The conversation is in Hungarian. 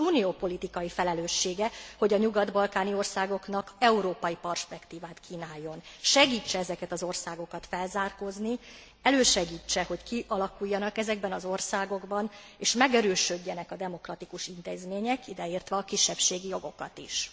Az Unió politikai felelőssége, hogy a nyugat balkáni országoknak európai perspektívát kínáljon. Segítse ezeket az országokat felzárkózni, elősegítse, hogy kialakuljanak ezekben az országokban és megerősödjenek a demokratikus intézmények, ideértve a kisebbségi jogokat is.